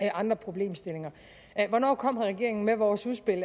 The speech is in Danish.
andre problemstillinger hvornår kommer regeringen med vores udspil